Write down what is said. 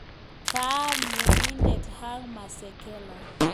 Kame Tyenindet Hugh Masekela